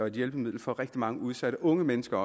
et hjælpemiddel for rigtig mange udsatte unge mennesker